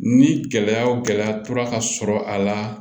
Ni gɛlɛya o gɛlɛya tora ka sɔrɔ a la